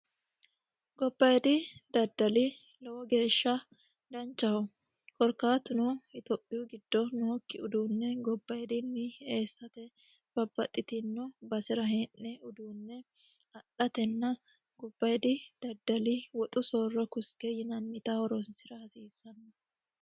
Gobbayiidi daddali lowo geesha danchaho korkaatuno Itophiyu giddo nookki uduunne gobbayidinni eessate babbaxitino basera hee'ne uduune adhatenna gobbayiddi daddali woxu sooro koste yinanita horonsira hasiisanno.